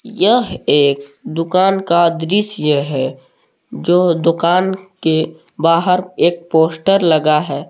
यह एक दुकान का दृश्य है जो दुकान के बाहर एक पोस्टर लगा है।